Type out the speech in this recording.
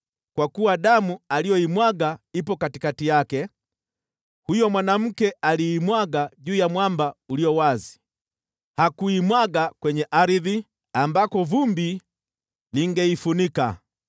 “ ‘Kwa kuwa damu aliyoimwaga ipo katikati yake: huyo mwanamke aliimwaga juu ya mwamba ulio wazi; hakuimwaga kwenye ardhi, ambako vumbi lingeifunika.